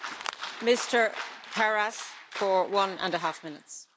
Frau Präsidentin, Frau Kommissarin, meine sehr geehrten Damen und Herren!